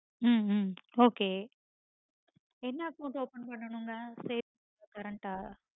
ஹம் hmm okay என்ன account open பண்ணனுங்க. savings ஆ current ஆ